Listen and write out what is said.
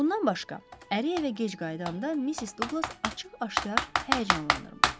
Bundan başqa, əri evə gec qayıdanda Missis Duqlas açıq-aşkar həyəcanlanırmış.